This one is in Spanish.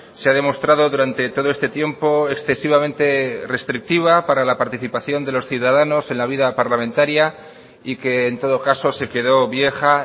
se ha demostrado durante todo este tiempo excesivamente restrictiva para la participación de los ciudadanos en la vida parlamentaria y que en todo caso se quedó vieja